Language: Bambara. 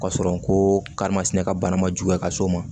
Ka sɔrɔ ko karimasina ka bana ma juguya ka s'o ma